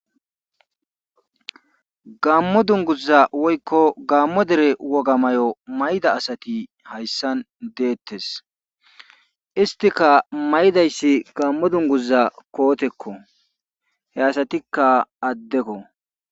Gaammo dungguza woykko gaammo dere woga mayo mayida asati hayssan deetees isttika mayidayssi gaammo dungguza kootekko he asatikka addeko.